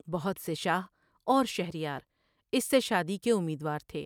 بہت سے شاہ اور شہر یاراس سے شادی کے امیدوار تھے ۔